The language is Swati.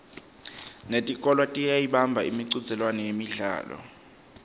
netikolwa tiyayibamba imicudzelwano yemidlalo